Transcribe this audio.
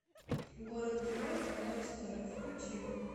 город героев новая история включи